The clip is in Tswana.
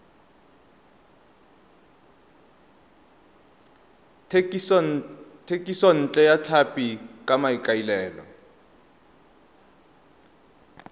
thekisontle ya tlhapi ka maikaelelo